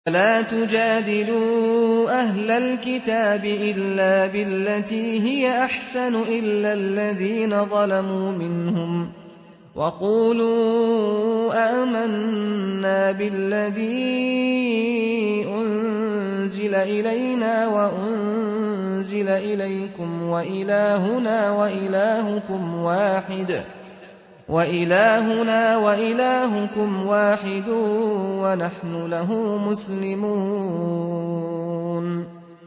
۞ وَلَا تُجَادِلُوا أَهْلَ الْكِتَابِ إِلَّا بِالَّتِي هِيَ أَحْسَنُ إِلَّا الَّذِينَ ظَلَمُوا مِنْهُمْ ۖ وَقُولُوا آمَنَّا بِالَّذِي أُنزِلَ إِلَيْنَا وَأُنزِلَ إِلَيْكُمْ وَإِلَٰهُنَا وَإِلَٰهُكُمْ وَاحِدٌ وَنَحْنُ لَهُ مُسْلِمُونَ